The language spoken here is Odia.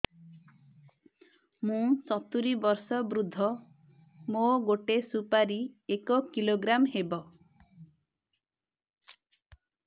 ମୁଁ ସତୂରୀ ବର୍ଷ ବୃଦ୍ଧ ମୋ ଗୋଟେ ସୁପାରି ଏକ କିଲୋଗ୍ରାମ ହେବ